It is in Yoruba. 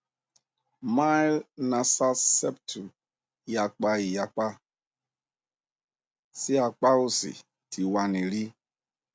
mild nasal septum iyapa iyapa si apa osi ti wa ni ri